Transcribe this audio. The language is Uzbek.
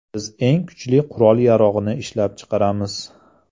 Biz eng kuchli qurol-yarog‘ni ishlab chiqaramiz.